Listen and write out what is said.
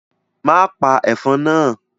Má pa ẹ̀fọn náà.